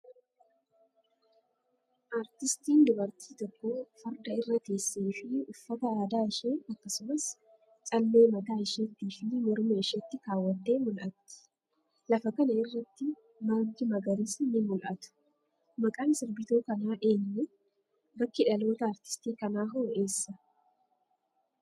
Aartistiin dubartii tokko, farda irra teessee fi uffata aadaa ishee akkasumas callee mataa isheetti fi morma isheetti kaawwattee mul'ati. Lafa kana irratti ,margi magariisni ni mul'atu. Maqaan sirbituu kanaa eenyu? Bakki dhalootaa aartistii kanaa hoo eessa?